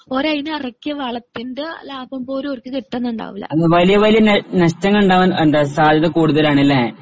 ഓര് അതിന് ഇറക്കിയ വളത്തിന്റെ ലാഭം പോലും ഓർക്ക് കിട്ടുന്നുണ്ടാവില്ല.